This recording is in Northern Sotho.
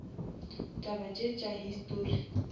taba tše tša histori